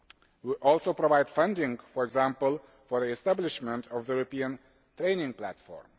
We are also providing funding, for example for the establishment of the European Training Platform.